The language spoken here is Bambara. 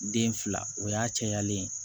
Den fila o y'a cayalen ye